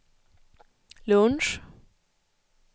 lunch